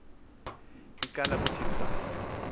icala kuthi saa